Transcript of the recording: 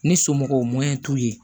Ni somɔgɔw mɔyɛn t'u ye